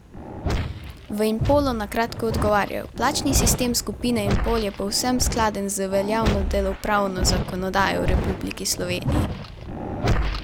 V Impolu na kratko odgovarjajo: "Plačni sistem skupine Impol je povsem skladen z veljavno delovnopravno zakonodajo v Republiki Sloveniji.